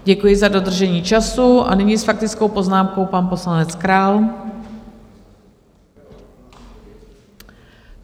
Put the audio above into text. Děkuji za dodržení času a nyní s faktickou poznámkou pan poslanec Král.